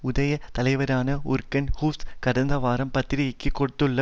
உடைய தலைவரான யூர்கன் வுக்ஸ் கடந்த வாரம் பத்திரிகைக்கு கொடுத்துள்ள